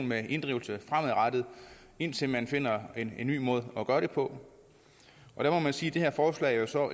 med inddrivelse fremadrettet indtil man finder en ny måde at gøre det på og der må man sige at det her forslag så